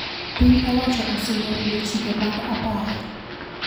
Piny owacho osingo rido chike mag apaya